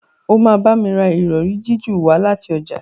o ma bá mí rà Ìrọ̀rí jiju wá láti ọjà.